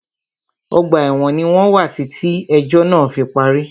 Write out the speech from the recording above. Ọgbà ẹ̀wọ̀n ní wọ́n wà títí ẹ̀jọ́ náà fí parí.